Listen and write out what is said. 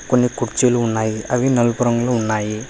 కొన్ని కుర్చీలు ఉన్నాయి అవి నలుపు రంగులో ఉన్నాయి.